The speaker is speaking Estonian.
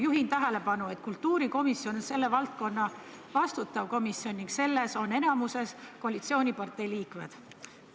Juhin tähelepanu asjaolule, et kultuurikomisjon on selle valdkonna vastutav komisjon ning selles on enamuses koalitsiooniparteide liikmed.